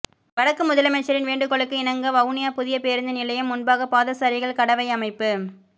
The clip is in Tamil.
வடக்கு முதலமைச்சரின் வேண்டுகோளுக்கு இணங்க வவுனியா புதிய பேரூந்து நிலையம் முன்பாக பாதசாரிகள் கடவை அமைப்பு